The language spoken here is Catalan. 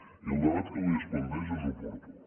i el debat que avui es planteja és oportú